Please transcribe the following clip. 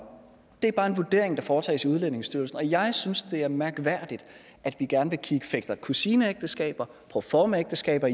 det er bare en vurdering der foretages i udlændingestyrelsen jeg synes det er mærkværdigt at vi gerne vil kigge på fætter kusineægteskaber og proformaægteskaber